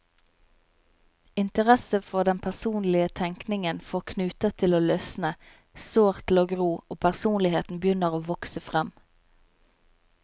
Interesse for den personlige tenkningen får knuter til å løsne, sår til å gro, og personligheten begynner å vokse frem.